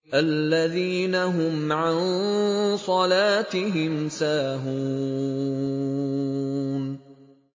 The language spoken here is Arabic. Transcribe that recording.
الَّذِينَ هُمْ عَن صَلَاتِهِمْ سَاهُونَ